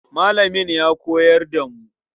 Malamin ya koyar da mu.